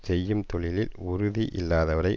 செய்யும் தொழிலில் உறுதி இல்லாதவரை